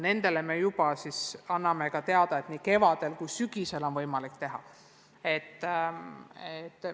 Neile me oleme juba teada andnud, et eksameid on võimalik teha nii kevadel kui ka sügisel.